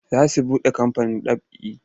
Za su buɗe kamfanin ɗab'i.